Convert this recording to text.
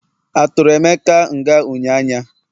aturu emeka nga unyanya?